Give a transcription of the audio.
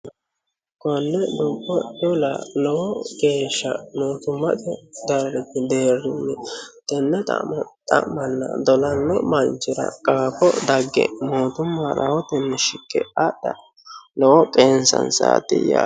Konne dubbodubbo dola lowo geesha mootimmate deerinni tenne xa'mona dolanno manichira qaafo dagge mootimma rahotenni rakke adha lowo qeechanisaati yaate